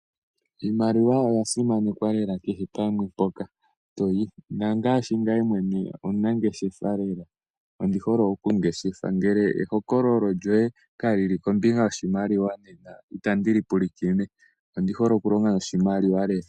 Iimaliwa oya simanekwa lela kehe pamwe mpoka to yi. Ngame mwene omunangeshefa lela. Ondi hole okungeshefa. Ngele ehokololo lyoye kali li kombinga yoshimaliwa nena itandi li pulakene. Ondi hole okulonga noshimaliwa.